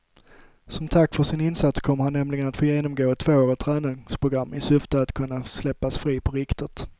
Som tack för sin insats kommer han nämligen att få genomgå ett tvåårigt träningsprogram i syfte att kunna släppas fri på riktigt.